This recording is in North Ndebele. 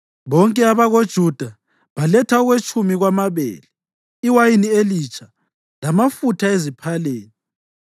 Bonke abakoJuda baletha okwetshumi kwamabele, iwayini elitsha lamafutha eziphaleni.